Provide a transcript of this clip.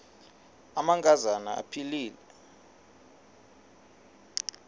amanka zana aphilele